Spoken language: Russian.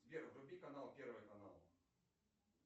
сбер вруби канал первый канал